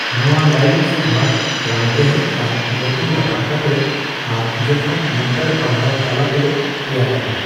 ᱱᱚᱣᱟ ᱞᱟᱭᱚᱝ ᱥᱚᱸᱫᱷᱟᱲ ᱨᱟᱱᱨᱮᱦᱮᱫ ᱟᱨ ᱜᱚᱛᱚᱢ ᱨᱟᱯᱟᱜ ᱠᱟᱛᱮᱜ ᱟᱨ ᱡᱚᱛᱷᱟᱛ ᱢᱟᱱᱛᱟᱨ ᱯᱟᱲᱦᱟᱣ ᱛᱟᱞᱟᱛᱮ ᱛᱮᱭᱟᱨᱚᱜᱼᱟ ᱾